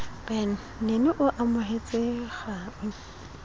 ben nene o amohetse kgau